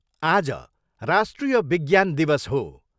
आज राष्ट्रिय विज्ञान दिवस हो।